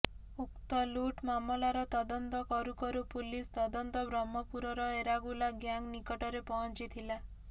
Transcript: ଉକ୍ତ ଲୁଟ୍ ମାମଲାର ତଦନ୍ତ କରୁ କରୁ ପୁଲିସ ତଦନ୍ତ ବ୍ରହ୍ମପୁରର ଏରାଗୁଲା ଗ୍ୟାଙ୍ଗ୍ ନିକଟରେ ପହଞ୍ଚିଥିଲା